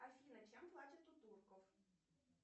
афина чем платят у турков